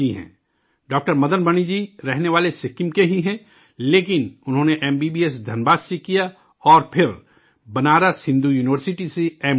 doctor Madan Mani ji رہنے والے سکم کے ہی ہیں، لیکن انہوں نے M B B S Dhanbad سے کیا اور پھر بنارس ہندو یونیورسٹی سے ایم ڈی کیا